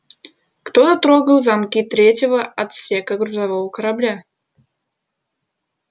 кто трогал замки третьего отсека грузового корабля